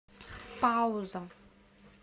пауза